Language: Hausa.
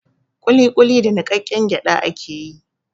Ƙuliƙuli da niƙaƙƙen gyaɗa ake yi.